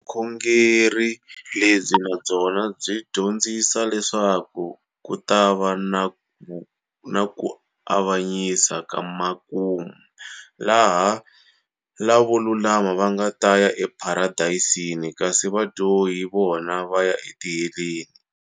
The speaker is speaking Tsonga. Vukhongeri lebyi nabyona byi dyondzisa leswaku kutava na kuavanyisa kamakumu, laha lavo lulama vangata ya e Paradeyisini, kasi vadyohi vona vaya e Tiheleni.